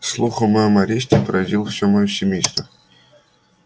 слух о моём аресте поразил всё моё семейство